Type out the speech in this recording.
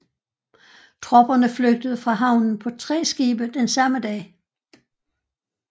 Tropperne flygtede fra havnen på tre skibe den samme dag